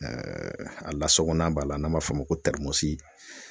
a lasagonan b'a la, n'an b'a f'o ma ko